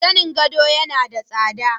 Zanin gado yana da tsada.